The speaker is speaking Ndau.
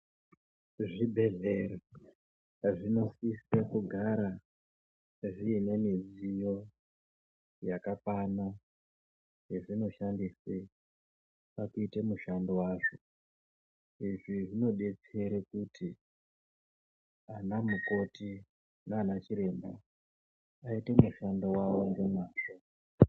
Zvibhedhlera zvinosisa kugara zvine midziyo yakakwana yazvinoshandisa pakuita mushando wazvo izvi zvinodetsera kuti ana mukoti nana chiremba aite mushando wavo nemazvo.